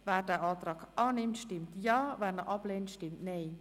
Wer den Antrag annimmt, stimmt Ja, wer diesen ablehnt, stimmt Nein.